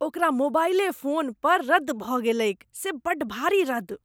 ओकरा मोबाईले फोन पर रद्द भऽ गेलैक से बड़ भारी रद्द ।